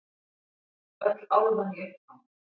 Öll álfan í uppnámi.